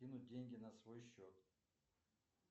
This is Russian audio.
кинуть деньги на свой счет